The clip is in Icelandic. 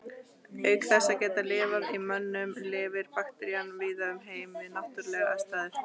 Auk þess að geta lifað í mönnum lifir bakterían víða um heim við náttúrulegar aðstæður.